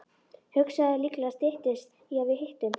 Hugsaðu þér, líklega styttist í að við hittumst.